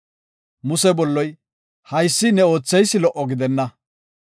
Muse bolloy, “Haysi ne ootheysi lo77o gidenna.